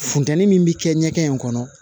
Funteni min bi kɛ ɲɛkɛ in kɔnɔ